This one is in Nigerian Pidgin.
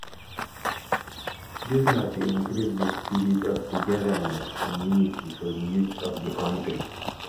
dis na to increase di spirit of togetherness and unity for di youths of di kontri